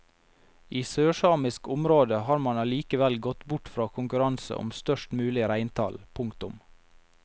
I sørsamisk område har man allikevel gått bort fra konkurranse om størst mulig reintall. punktum